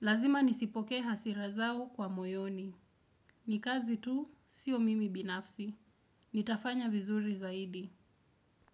Lazima nizipokee hasira zao kwa moyoni. Ni kazi tu sio mimi binafsi. Nitafanya vizuri zaidi.